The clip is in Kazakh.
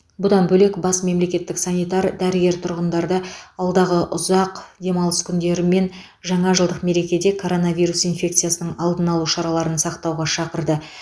бұдан бөлек бас мемлекеттік санитар дәрігер тұрғындарды алдағы ұзақ демалыс күндері мен жаңа жылдық мерекеде коронавирус инфекциясының алдын алу шараларын сақтауға шақырды